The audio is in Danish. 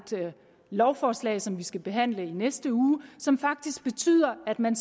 lovforslag som vi skal behandle i næste uge som faktisk betyder at man